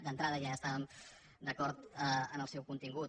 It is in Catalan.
d’entrada ja estàvem d’acord en el seu contingut